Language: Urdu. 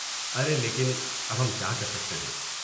ارے لیکن، اب ہم کیا کر سکتے ہیں؟